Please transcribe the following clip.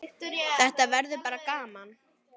Þetta verður bara gaman.